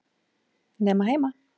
Nema heima.